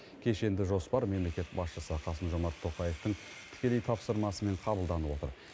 кешенді жоспар мемлекет басшысы қасым жомарт тоқаевтың тікелей тапсырмасымен қабылданып отыр